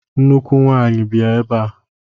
Nnukwu nwanyi! bịa ebe a!